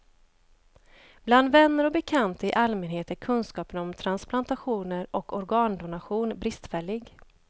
Bland vänner och bekanta i allmänhet är kunskapen om transplantationer och organdonation bristfällig.